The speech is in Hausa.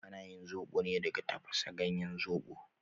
Ana yin zobo ne daga tafasa ganyen zobo